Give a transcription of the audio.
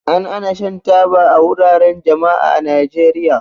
An hana shan taba a wuraren jama'a a Najeriya.